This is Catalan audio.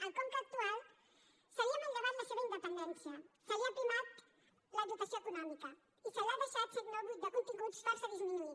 al conca actual se li ha manllevat la seva independència se li ha aprimat la dotació econòmica i se l’ha deixat si no buit de continguts força disminuït